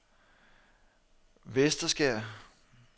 Vesterskær